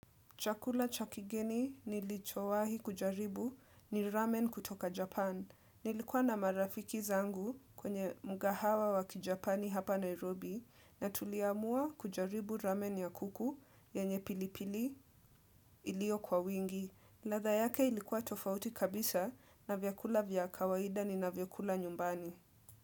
Chakula cha kigeni nilichowahi kujaribu ni ramen kutoka Japan. Nilikuwa na marafiki zangu kwenye mgahawa wa kijapani hapa Nairobi na tuliamua kujaribu ramen ya kuku yenye pilipili ilio kwa wingi. Ladha yake ilikuwa tofauti kabisa na vyakula vya kawaida ninavyokula nyumbani.